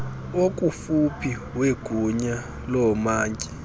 okufuphi wegunya loomantyi